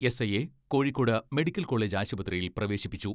എസ്.ഐയെ Kozhikode medical college ആശുപത്രിയിൽ പ്രവേശി പ്പിച്ചു.